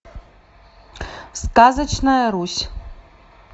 сказочная русь